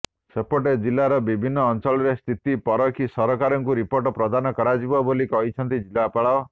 ସେପଟେ ଜିଲ୍ଲାର ବିଭିନ୍ନ ଅଞ୍ଚଳରେ ସ୍ଥିତି ପରଖି ସରକାରଙ୍କୁ ରିପୋର୍ଟ ପ୍ରଦାନ କରାଯିବ ବୋଲି କହିଛନ୍ତି ଜିଲ୍ଲାପାଳ